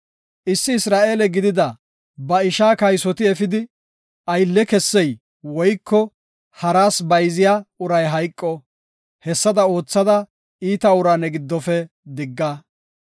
Issi Isra7eele gidida ba ishaa kaysoti efidi, aylle kessey woyko haras bayziya uray hayqo. Hessada oothada iita uraa ne giddofe digga.